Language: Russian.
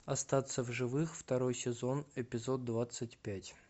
остаться в живых второй сезон эпизод двадцать пять